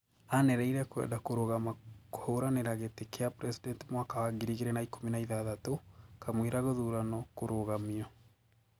Anereire kwanda kurugama kuhuranira giti kia president mwaka wa 2016, kamwira guthurano kurugamio